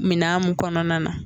Minan mun kɔnɔna na.